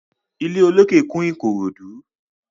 Ilé olókè kún Ìkòròdú.